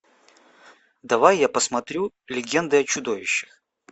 давай я посмотрю легенды о чудовищах